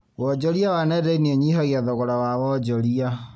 Wonjoria wa nenda-inĩ ũnyihagia thogora wa wonjoria